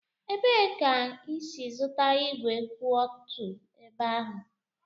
Ebee ka ị si zụta ígwè kwụ otu ebe ahụ?